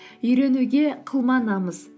үйренуге қылма намыс